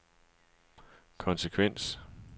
konsekvens